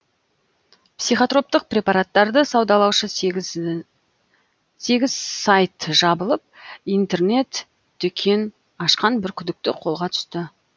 психотроптық препараттарды саудалаушы сегіз сайт жабылып интернет дүкен ашқан бір күдікті қолға түсті